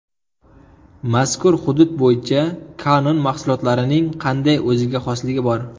Mazkur hudud bo‘yicha Canon mahsulotlarining qanday o‘ziga xosligi bor?